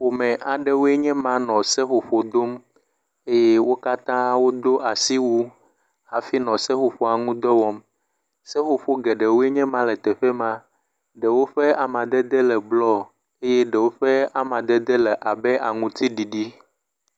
Ƒome aɖewoe nye ma nɔ seƒoƒo dom eye wo katã wodo asiwu hafi nɔ seƒoƒoa ŋu dɔ wɔm. Seƒoƒo aɖewo nye ma. Ɖewo ƒe amadede le blɔ eye ɖewo ƒe amadede anɔ aŋtiɖiɖi.